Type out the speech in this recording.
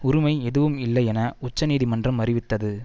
உரிமை எதுவும் இல்லை என உச்ச நீதிமன்றம் அறிவித்தது